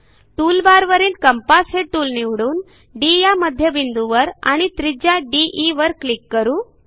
टूलबारवरील कंपास हे टूल निवडून डी या मध्यबिंदूवर आणि त्रिज्या दे वर क्लिक करू